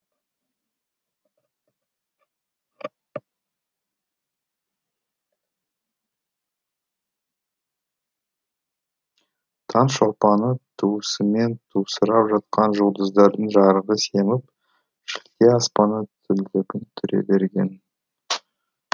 таң шолпаны туысымен тусырап жатқан жұлдыздардың жарығы семіп шілде аспаны түңлігін түре берген